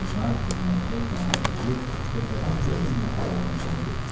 Onlar dinməzcə kənara çəkilib söhbətin nə ilə nəticələnəcəyini gözləyirdilər.